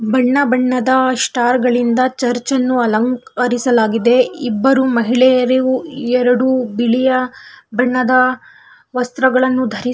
ಬಣ್ಣ ಬಣ್ಣದ ಸ್ಟಾರ್ಗಳಿಂದ ಚರ್ಚ್ ಅನ್ನು ಅಲಂಕರಿಸಲಾಗಿದೆ ಇಬ್ಬರು ಮಹಿಳೆಯರು ಎರಡು ಬಿಳಿಯ ಬಣ್ಣದ ವಸ್ತ್ರಗಳನ್ನು ದರಿಸು --